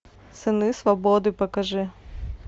сыны свободы покажи